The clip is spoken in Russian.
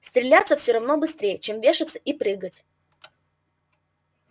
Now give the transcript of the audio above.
стреляться всё равно быстрей чем вешаться и чем прыгать